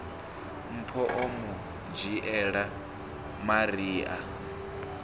mpho o mu dzhiela maria